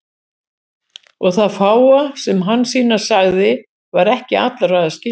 Og það fáa sem Hansína sagði var ekki allra að skilja.